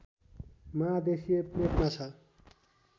महादेशीय प्लेटमा छ